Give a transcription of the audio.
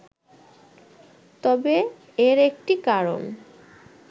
তবে এর একটি কারণ